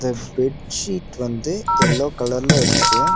ஃப் bed sheet வந்து yellow கலர்ல இருக்கு.